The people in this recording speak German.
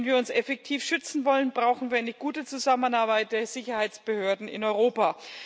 Wenn wir uns effektiv schützen wollen, brauchen wir eine gute Zusammenarbeit der Sicherheitsbehörden in Europa.